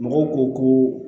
Mɔgɔw ko